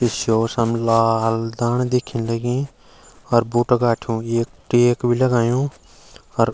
ई स्यो समला हल दाण दिखेंण लगीं अर बूटा गाठियों एक टेक भी लगायुं अर।